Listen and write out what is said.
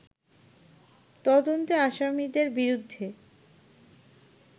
তদন্তে আসামিদের বিরুদ্ধে